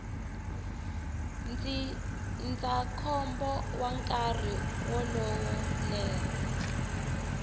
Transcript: ndzindzakhombo wa nkarhi lowo leha